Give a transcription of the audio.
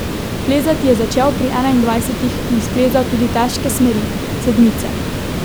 Plezati je začel pri enaindvajsetih in splezal tudi težke smeri, sedmice.